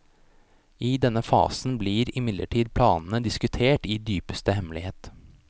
I denne fasen ble imidlertid planene diskutert i dypeste hemmelighet.